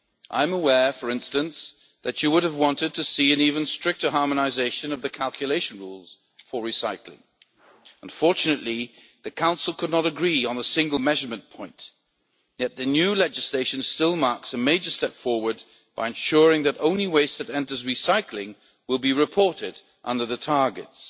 I am aware, for instance, that you would have wanted to see an even stricter harmonisation of the calculation rules for recycling. Unfortunately, the Council could not agree on a single measurement point, yet the new legislation still marks a major step forward by ensuring that only waste that enters recycling will be reported under the targets.